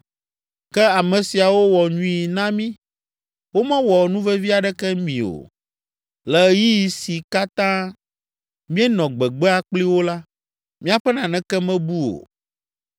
Ke ame siawo wɔ nyui na mí. Womewɔ nuvevi aɖeke mi o. Le ɣeyiɣi si katã míenɔ gbegbea kpli wo la, míaƒe naneke mebu o.